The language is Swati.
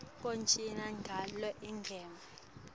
kujoyina ngalo igems